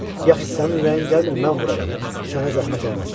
Yaxşı, sənin ürəyin gəlmir, mən vuraram, sənə zəhmət olmaz.